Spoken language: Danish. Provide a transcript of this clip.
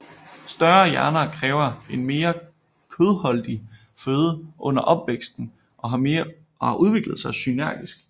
Større hjerner kræver en mere kødholdig føde under opvæksten og har udviklet sig synergisk